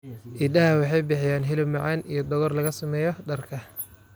Idaha waxay bixiyaan hilib macaan iyo dhogor laga sameeyo dharka.